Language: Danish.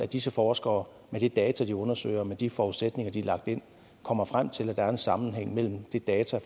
disse forskere med de data de undersøger og med de forudsætninger der er lagt ind kommer frem til at der er en sammenhæng mellem de data